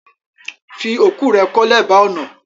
Fi oku rẹ̀ ko lèba ọ̀nà!